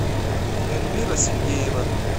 эльмира сергеева